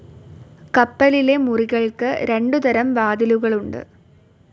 കപ്പലിലെ മുറികൾക്ക് രണ്ടു തരം വാതിലുകളുണ്ട്.